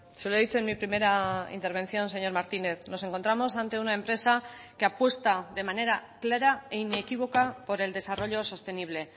se lo he dicho en mi primera intervención señor martínez nos encontramos ante una empresa que apuesta de manera clara e inequívoca por el desarrollo sostenible